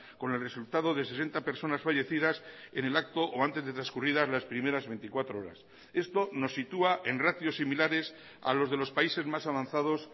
con el resultado de sesenta personas fallecidas en el acto o antes de transcurridas las primeras veinticuatro horas esto nos sitúa en ratios similares a los de los países más avanzados